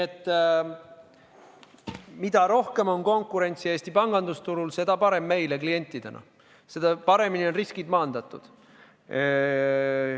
Mida rohkem on konkurentsi Eesti pangandusturul, seda parem meile klientidena, seda paremini on riskid maandatud.